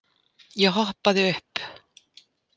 Ég hoppaði upp.